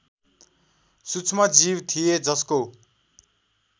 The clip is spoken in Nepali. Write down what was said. सूक्ष्मजीव थिए जसको